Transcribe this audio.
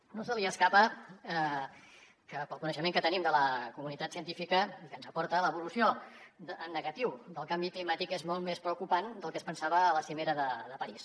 a ningú no se li escapa que pel coneixement que tenim de la comunitat científica i que ens aporta l’evolució en negatiu del canvi climàtic és molt més preocupant del que es pensava a la cimera de parís